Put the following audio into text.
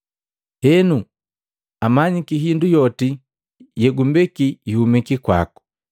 Henu amanyiki hindu yoti yegumbeki ihumiki kwaku.